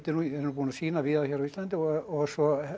er nú búinn að sýna víða hér á Íslandi og svo